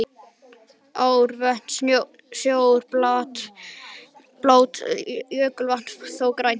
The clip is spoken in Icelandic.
Ár, vötn og sjór er blátt, jökulvatn þó grænt.